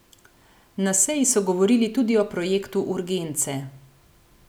Na seji so govorili tudi o projektu urgence.